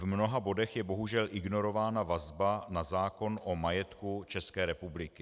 V mnoha bodech je bohužel ignorována vazba na zákon o majetku České republiky.